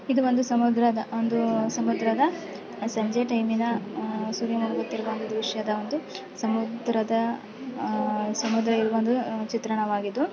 ಇದು ಒಂದು ಸಮುದ್ರದ ಒಂದು ಸಮುದ್ರದ ಸಂಜೆ ಟೈಮಿನ ಅಹ್ ಸೂರ್ಯ ಮುಳುಗುತ್ತಿರುವ ಒಂದು ದೃಶ್ಯದ ಒಂದು ಸಮುದ್ರದ ಅಹ್ ಸಮುದ್ರ ಇದು ಚಿತ್ರಣವಾಗಿದ್ದು--